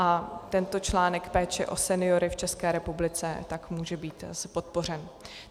A tento článek péče o seniory v České republice tak může být podpořen.